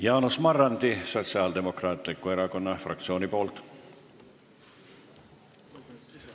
Jaanus Marrandi Sotsiaaldemokraatliku Erakonna fraktsiooni nimel.